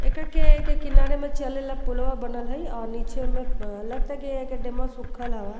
एका के एके किनारे में चले ला पूलवा बनल हई अ नीचे में प् अ लगता की एकर डेमवा सुखल हवा।